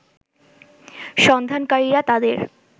সন্ধানকারীরা তাদের